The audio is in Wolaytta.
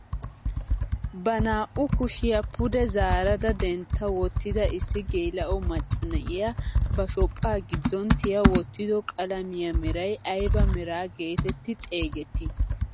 Ba naa"u kushiyaa pude zaaradadentta wottida issi geela'o macca na'iyaa ba shophphaa giddon tiya wottido qalamiyaa meray ayba meraa getetti xeegettii?